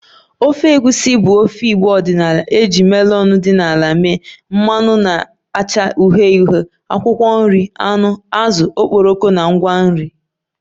Ofe Egusi bụ ofe igbo ọdịnala e ji melon dị n'ala mee, mmanụ na-acha uhie uhie, akwụkwọ nri, anụ, azụ, okporoko na ngwa nri